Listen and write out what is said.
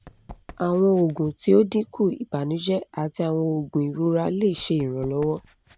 awọn oogun ti o dinku ibanujẹ ati awọn oogun irora le ṣe iranlọwọ